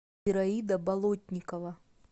ираида болотникова